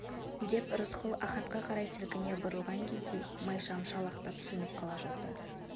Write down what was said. деп рысқұл ахатқа қарай сілкіне бұрылған кезде майшам шалықтап сөніп қала жаздады